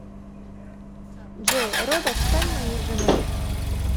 джой робот стань моей женой